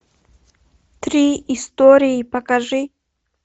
три истории покажи